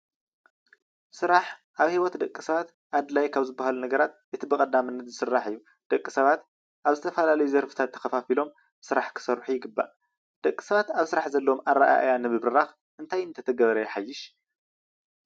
ስራሕ ኣብ ሂወት ደቂ ሰባት ኣድላይ ካብ ዝባሃሉ ነገራት እቲ ብቐዳምነት ዝስራዕ እዩ። ደቂ ሰባት ኣብ ዝተፈላለዩ ዘርፍታት ተኸፋፊሎም ስራሕ ክሰርሑ ይግባእ። ደቂ ሰባት ኣብ ስራሕ ዘለዎም ኣረኣእያ ንምብራኽ እንታይ እንተተገበረ ይሓይሽ?